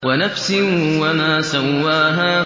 وَنَفْسٍ وَمَا سَوَّاهَا